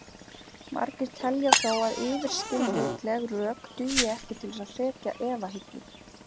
Margir telja þó að yfirskilvitleg rök dugi ekki til að hrekja efahyggju.